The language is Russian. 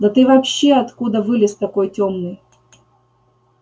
да ты вообще откуда вылез такой тёмный